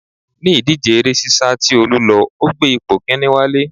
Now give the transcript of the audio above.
Ní ìdíje eré sisa tí Olú lọ, ó gbé ipò kinni wálé